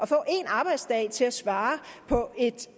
få en arbejdsdag til at svare på et